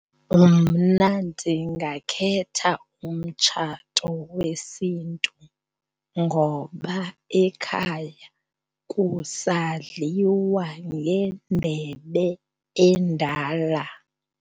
Mna ndingakhetha umtshato wesiNtu ngoba ekhaya kusadliwa ngendebe endala.